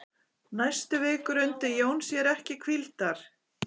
Næstu vikur undi Jón sér ekki hvíldar.